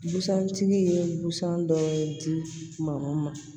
Busan tigi ye busan dɔw di ma